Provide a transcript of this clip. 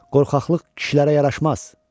Qorxaqlıq kişilərə yaraşmaz.